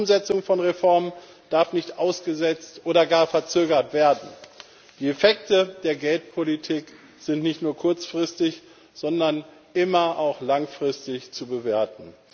Die Umsetzung von Reformen darf nicht ausgesetzt oder gar verzögert werden. Die Effekte der Geldpolitik sind nicht nur kurzfristig, sondern immer auch langfristig zu bewerten.